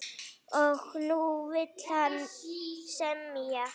Og nú vill hann semja!